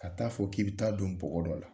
Ka ta'a fɔ k'i bɛ ta'a don bɔgɔ dɔ la